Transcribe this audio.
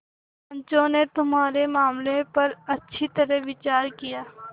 पंचों ने तुम्हारे मामले पर अच्छी तरह विचार किया